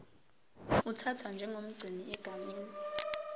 uthathwa njengomgcini egameni